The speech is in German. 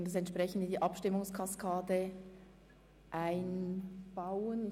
Wir werden dies entsprechend bei der Abstimmungskaskade berücksichtigen.